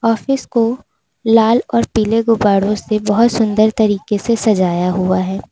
Office को लाल और पीले गुब्बारों से बहुत सुन्दर तरीके से सजाया हुआ है।